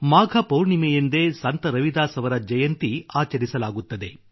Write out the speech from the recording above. ಮಾಘ ಪೌರ್ಣಮಿಯಂದೇ ಸಂತ ರವಿದಾಸ್ ಅವರ ಜಯಂತಿ ಆಚರಿಸಲಾಗುತ್ತದೆ